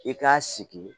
I k'a sigi